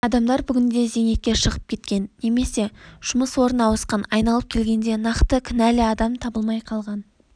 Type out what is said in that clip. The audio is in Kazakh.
адамдар бүгінде зейнетке шығып кеткен немесе жұмыс орны ауысқан айналып келгенде нақты кінәліадам табылмай қалған